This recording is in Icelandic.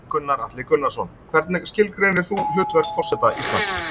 Gunnar Atli Gunnarsson: Hvernig skilgreinir þú hlutverk forseta Íslands?